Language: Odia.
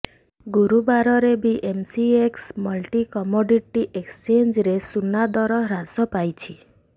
ଗୁରୁବାରରେ ବି ଏମ୍ସିଏକ୍ସ ମଲ୍ଟି କମୋଡିଟି ଏକ୍ସଚେଞ୍ଜରେ ସୁନାଦର ହ୍ରାସ ପାଇଛି